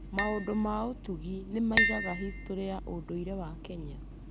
Maũndũ ma ũtugi nĩ maigaga historĩ ya ũndũire wa Kenya.